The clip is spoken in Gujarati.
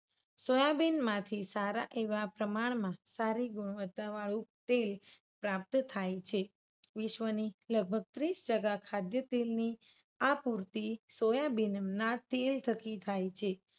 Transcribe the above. સોયાબીન માંથી સારા એવા પ્રમાણમાં સારી ગુણવત્તા વાળું તેલ પ્રાપ્ત થાય છે. વિશ્વની લગભગ ત્રીસ ટકા ખાદ્યકિમની આ પૂર્તિ સોયાબીનના થકી થાય છે.